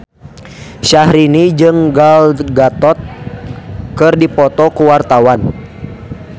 Syahrini jeung Gal Gadot keur dipoto ku wartawan